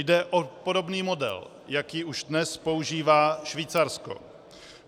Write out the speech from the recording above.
Jde o podobný model, jaký už dnes používá Švýcarsko.